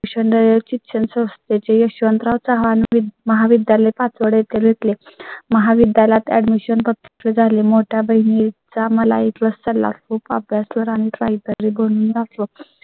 यचीच असते. चे यशवंतराव चव्हाण महाविद्यालय पाचवडे येथे भेटले महाविद्यालयात Admission खूप खर्च झाले. मोठ्या बहिणी चा मला एक वाजता ला खूप अभ्यास वर आणि Try करे दोन दाखवा